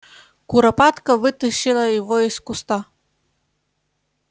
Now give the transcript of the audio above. куропатка вытащила его из куста